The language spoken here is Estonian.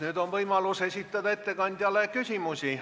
Nüüd on võimalus esitada ettekandjale küsimusi.